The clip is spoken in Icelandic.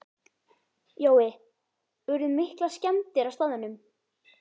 Jói, urðu miklar skemmdir á staðnum?